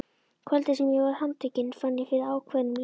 Kvöldið sem ég var handtekinn fann ég fyrir ákveðnum létti.